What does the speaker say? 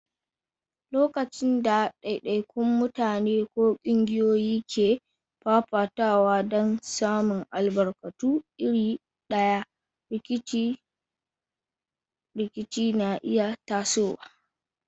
Lokacin da daidaikun mutane ko kungiyoyi ke fafatawa don samun albarkatu iri ɗaya, rikice-rikice na iya tasowa.